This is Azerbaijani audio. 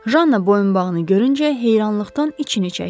Janna boyunbağını görüncə heyrandan içini çəkdi.